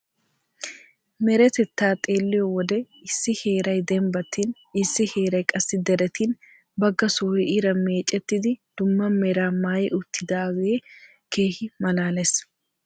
Meretetaa xeelliyo wode issi heeray dembbattin issi heeray qassi deretin bagga sohoy iran meecettidi dumma meraa maayi uttidaagee keehi malaalees.